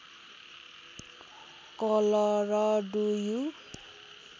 colour do you